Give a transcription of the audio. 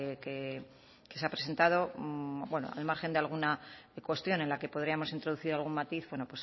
que se ha presentado bueno al margen de alguna cuestión en la que podríamos introducir algún matiz bueno